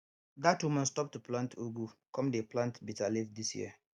dat woman stop to plant ugu come dey plant bitter leaf this year